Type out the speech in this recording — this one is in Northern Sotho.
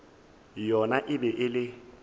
yona e be e le